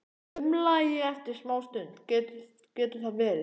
umlaði ég eftir smástund: Getur það verið?